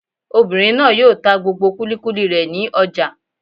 Obìnrin náà yóò ta gbogbo kúlíkúlí rẹ̀ ní ọjà